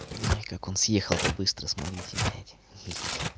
не как он съехал то быстро смотрите блять хе-хе